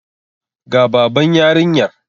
Ga Baban yarinyar.